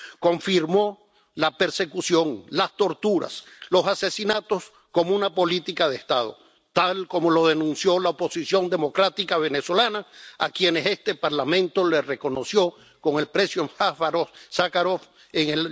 Confirmó la persecución, las torturas, los asesinatos como una política de Estado, tal como lo denunció la oposición democrática venezolana, a quienes este Parlamento reconoció con el Premio Sájarov en